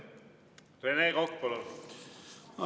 Rene Kokk, palun!